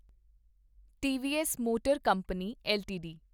TVS motor company LTD